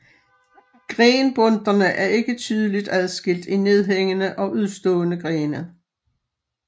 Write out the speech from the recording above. Grenbundterne er ikke tydeligt adskilt i nedhængende og udstående grene